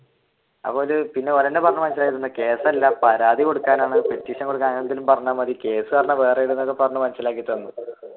അപ്പൊ ഓർ തന്നെ പറഞ്ഞു മനസിലാക്കി തന്നു കേസ് അല്ല പരാതി കൊടുക്കാനാണ് കൊടുക്കാനാണ് petition എന്തെങ്കിലും പറഞ്ഞാൽ മതി